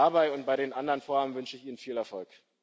Dabei und bei den anderen Vorhaben wünsche ich Ihnen viel Erfolg.